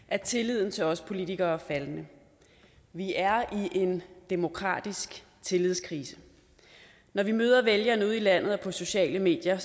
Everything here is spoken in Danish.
at tilliden til os politikere er faldende vi er i en demokratisk tillidskrise når vi møder vælgerne ude i landet og på sociale medier